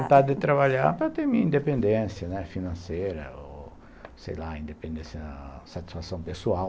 Vontade de trabalhar para ter minha independência, né, financeira ou, sei lá, independência... Satisfação pessoal.